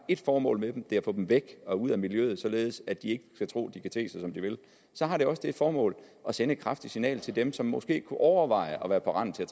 det formål at få dem væk ud af miljøet således at de ikke kan tro at de kan te sig som de vil så har det også det formål at sende et kraftigt signal til dem som måske kunne overveje at være på randen til at